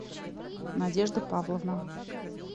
надежда павловна